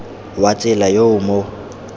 wa tsela yo o mo